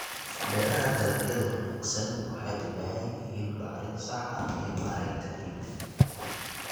Beeraha Dalagyada wanaagsan waxay u baahan yihiin bacrin sax ah iyo maaraynta ciidda.